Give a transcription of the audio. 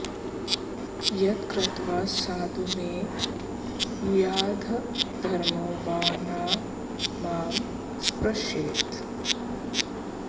यत्कृत्वा साधु मे भूयादधर्मो वा न मां स्पृशेत्